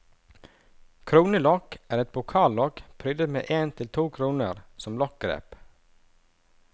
Kronelokk er et pokallokk prydet med en til to kroner som lokkgrep.